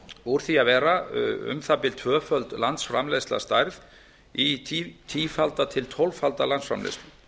úr því að vera um það bil tvöföld landsframleiðsla að stærð í tífalda til tólffalda landsframleiðslu